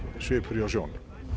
svipur hjá sjón